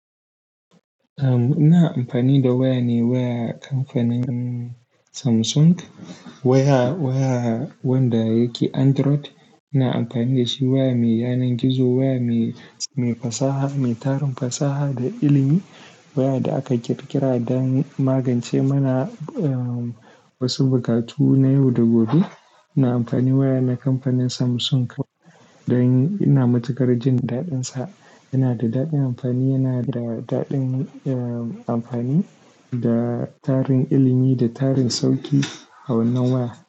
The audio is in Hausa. Ina amfani da waya ne waya kamfanin Samsung. Waya, waya wanda yake Android ina amfani da shi. Waya mai yanar gizo, waya mai, mai fasaha, mai tarin fasaha da ilimi. Waya da aka ƙirƙira dan magance mana wasu buƙatu na yau da gobe. Ina amfani waya na kamfanin Samsung don ina matuƙar jin daɗinsa. Yana da daɗin amfani, yana da daɗin amfani da tarin ilimi da tarin sauƙi a wannan waya.